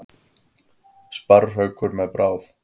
Sparrhaukur með bráð.